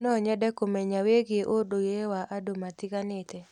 No nyende kũmenya wĩgiĩ ũndũire wa andũ matiganĩte.